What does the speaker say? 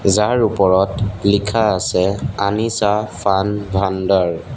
যাৰ ওপৰত লিখা আছে আনিচা ফান ভাণ্ডাৰ।